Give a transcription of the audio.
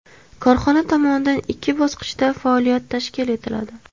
Korxona tomonidan ikki bosqichda faoliyat tashkil etiladi.